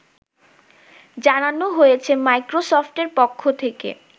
জানানো হয়েছে মাইক্রোসফটের পক্ষ থেকে